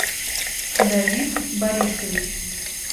давид борисович